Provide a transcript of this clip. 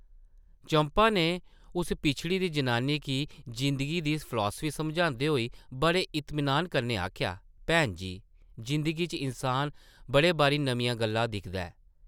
चंपा नै उस पिछड़ी दी जनानी गी जिंदगी दी फलासफी समझांदे होई बड़े इतमिनान कन्नै आखेआ, भैन जी, जिंदगी च इन्सान बड़े बारी नमियां गल्लां दिखदा ऐ ।